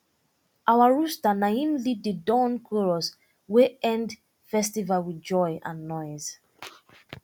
our rooster na im lead the dawn chorus wey end festival with joy and noise